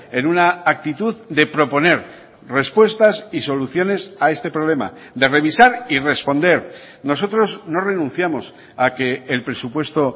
en una actitud de proponer respuestas y soluciones a este problema de revisar y responder nosotros no renunciamos a que el presupuesto